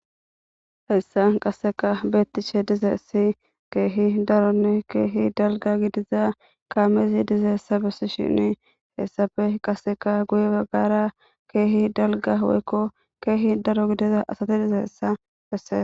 Hayssan qaseka beettishe dizayssi keehi daronne keehi dalgga gidiza kaamezi dizayessa bessishini hessappe qaseka guye baggara keehi dalgga woykko keehi daro gidiza asati dizayessa besses.